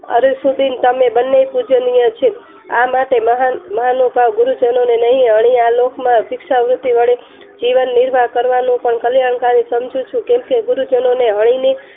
અરુનસુધી તમે બને પૂજનીય છે. આ માટે મહાનુભાવ ગુરુ જનોને નહિ અહીં આ લોક માં ભિક્ષાવૃતિ વળી જીવનનિર્વાહ કરવાનું પણ કલ્યાણકારી સમજુ છું. કેમ કે ગુરુજનોને હણીની